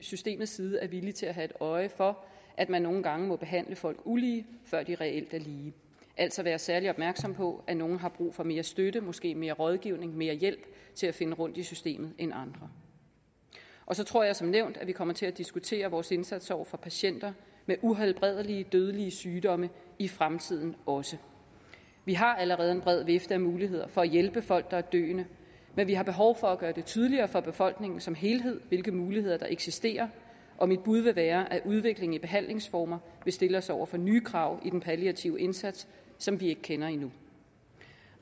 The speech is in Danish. systemets side er villig til at have øje for at man nogle gange må behandle folk ulige før de reelt er lige altså være særlig opmærksom på at nogle har brug for mere støtte måske mere rådgivning mere hjælp til at finde rundt i systemet end andre og så tror jeg som nævnt at vi kommer til at diskutere vores indsats over for patienter med uhelbredelige dødelige sygdomme i fremtiden også vi har allerede en bred vifte af muligheder for at hjælpe folk der er døende men vi har behov for at gøre det tydeligere for befolkningen som helhed hvilke muligheder der eksisterer og mit bud vil være at udvikling i behandlingsformer vil stille os over for nye krav i den palliative indsats som vi ikke kender endnu